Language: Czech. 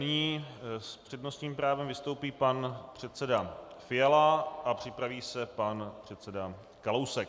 Nyní s přednostním právem vystoupí pan předseda Fiala a připraví se pan předseda Kalousek.